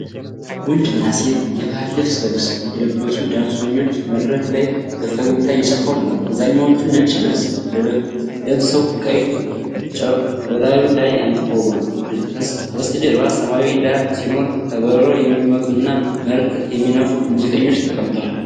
ወንድና ሴት የባህል ልብስ የለበሱ ዳንሰኞች መድረክ ላይ በፈገግታ እየጨፈሩ ነው። አብዛኛዎቹ ነጭ ልብስ ለብሰው ቀይ ጨርቅ በላዩ ላይ አንጠልጥለዋል። ከበስተጀርባ ሰማያዊ ዳራ ሲኖር፣ ከበሮ የሚመቱ እና መለከት የሚነፉ ሙዚቀኞች ተቀምጠዋል።